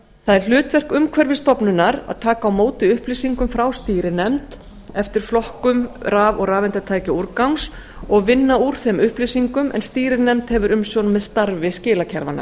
það er hlutverk umhverfisstofnunar að taka á móti upplýsingum frá stýrinefnd eftir flokkum raf og rafeindatækjaúrgangs og vinna úr þeim upplýsingum en stýrinefnd hefur umsjón með starfi skilakerfanna